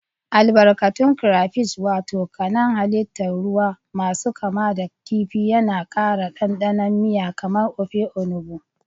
Albarkatun Crayfish wato kanan hallitan ruwamasu kama da kifi yana ƙara ɗanɗanon miya kamar Ofe Onugbu.